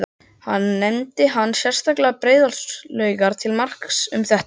Nefndi hann sérstaklega Breiðholtslaugar til marks um þetta.